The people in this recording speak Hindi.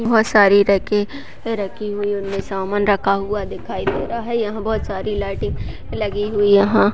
बहुत सारी रेके रखी हुई है उनमे सामान रखा हुआ दिखाई दे रहा है यहाँ बहुत सारी लाइटें लगी हुई यहाँ --